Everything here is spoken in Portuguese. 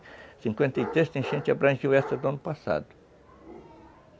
cinquenta e três, essa enchente abrangiu essa do ano passado.